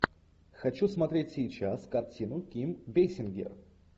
хочу смотреть сейчас картину ким бейсингер